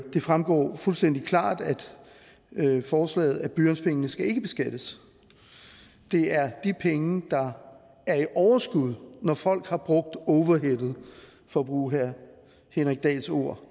fremgår fuldstændig klart af forslaget at blyantspengene ikke skal beskattes det er de penge der er i overskud når folk har brugt overheadet for at bruge herre henrik dahls ord